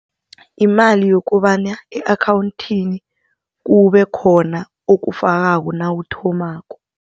Imali yokobana e-akhawunthini kube khona okufakako nawuthomako.